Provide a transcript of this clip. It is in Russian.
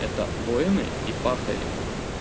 это воины и пахари